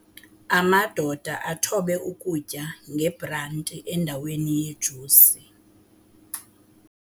Amadoda athobe ukutya ngebranti endaweni yejusi.